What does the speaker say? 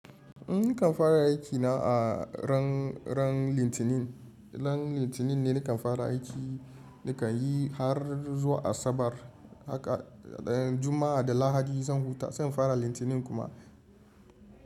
Nikan fara aikina a ran ran litinin, ran litinin ne nikan fara aiki nikan yi har zuwa Asabar haka juma'a da lahadi zan huta zan fara litinin kuma.